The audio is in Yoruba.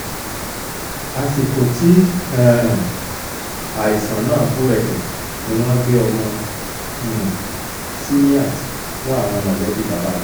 àsìkò tí um àìsàn náà búrẹ́kẹ́ ni wọ́n gbé ọmọ um simiat fún àwọn mọ̀lẹ́bí bàbá rẹ̀